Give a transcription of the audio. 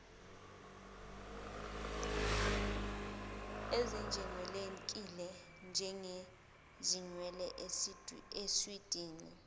ezingejwayelekile njengezinwele iswidi